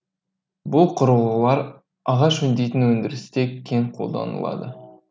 бұл құрылғылар ағаш өңдейтін өндірісте кең қолданылады